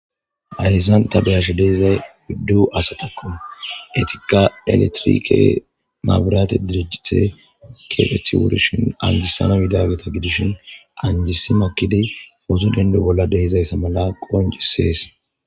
Hayssan ta beyash deizay widdu asatakko etiqa eletirike maabirate diricjite kefethi wurishin anjisana midageta gidishin anjisi makkidi footo dendu bolla dehizayssa mala qonjisees